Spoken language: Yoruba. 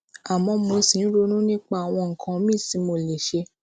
àmó mo ṣì ń ronú nípa àwọn nǹkan míì tí mo lè ṣe